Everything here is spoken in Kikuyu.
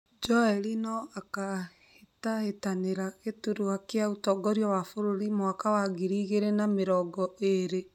Joel no akahĩtahĩtanira gĩturwa kĩa ũtongoria wa bũrũri mwaka wa ngiri igĩrĩ na mĩrongo iri?